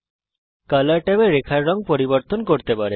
colour ট্যাবে আপনি রেখার রঙ পরিবর্তন করতে পারেন